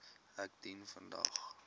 ek dien vandag